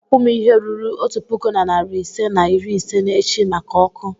ị ga-akwụ m ihe ruru otu puku na narị ise na iri ise n'echi maka ọkụ.